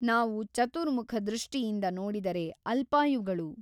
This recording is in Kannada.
ನಾವು ಚತುರ್ಮುಖ ದೃಷ್ಟಿಯಿಂದ ನೋಡಿದರೆ ಅಲ್ಪಾಯುಗಳು.